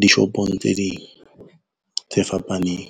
dishopong tse ding tse fapaneng.